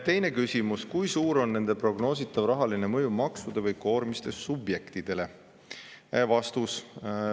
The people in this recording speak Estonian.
Teine küsimus: "Kui suur on nende prognoositav rahaline mõju maksude või koormiste subjektidele?